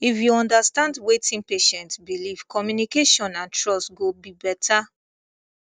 if you understand wetin patient believe communication and trust go be better